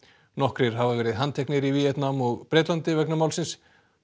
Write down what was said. nokkrir hafa verið handteknir í Víetnam og Bretlandi vegna málsins